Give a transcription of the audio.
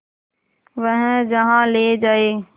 वह जहाँ ले जाए